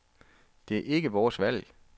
Det er ikke vores valg.